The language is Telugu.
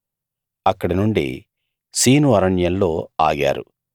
అక్కడినుండి సీను అరణ్యంలో ఆగారు